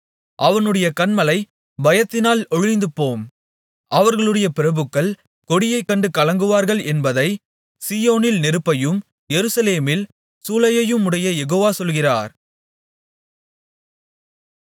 அவனுடைய கன்மலை பயத்தினால் ஒழிந்துபோம் அவர்களுடைய பிரபுக்கள் கொடியைக் கண்டு கலங்குவார்கள் என்பதை சீயோனில் நெருப்பையும் எருசலேமில் சூளையையுமுடைய யெகோவா சொல்கிறார்